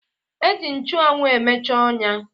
E ji nchụanwụ emeche ọnya